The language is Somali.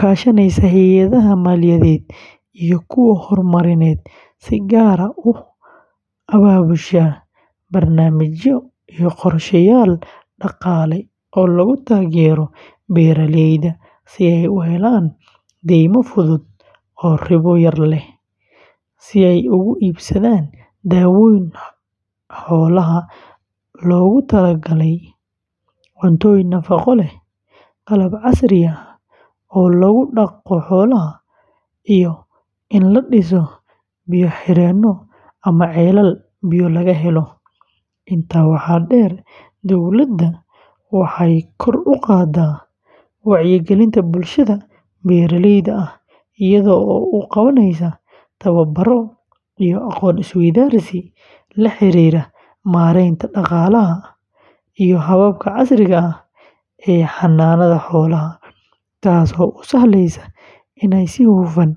kaashanaysa hay'adaha maaliyadeed iyo kuwa horumarineed, si gaar ah u abaabushaa barnaamijyo iyo qorsheyaal dhaqaale oo lagu taageerayo beeraleyda si ay u helaan deymo fudud oo ribo yar leh, si ay ugu iibsadaan daawooyin xoolaha loogu tala galay, cuntooyin nafaqo leh, qalab casri ah oo lagu dhaqdo xoolaha, iyo in la dhiso biyo-xireenno ama ceelal biyo laga helo. Intaa waxaa dheer, dowladda waxay kor u qaadaa wacyigelinta bulshada beeraleyda ah iyada oo u qabanaysa tababaro iyo aqoon isweydaarsi la xiriira maaraynta dhaqaalaha iyo hababka casriga ah ee xanaanada xoolaha, taasoo u sahleysa inay si hufan.